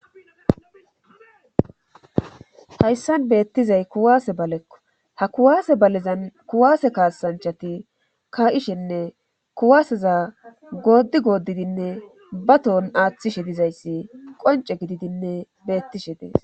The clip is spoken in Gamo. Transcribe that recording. Hayssan beettizay kuwaase balekko ha kuwaase balezan kuwaase kaasanchati ka7ishenne kuwaaseza goodi goodidinne batohon aaththishe dizayssi qonce gididinne beettishe dees